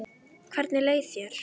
Hvernig leið þér?